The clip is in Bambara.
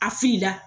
A filila